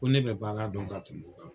Ko ne be baara dɔn ka tɛmɛ o kan.